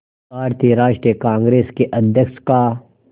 भारतीय राष्ट्रीय कांग्रेस के अध्यक्ष का